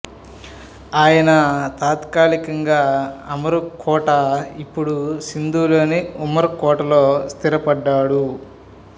ఆయన తాత్కాలికంగా అమరుకోట ఇప్పుడు సింధులోని ఉమరుకోట లో స్థిరపడ్డాడు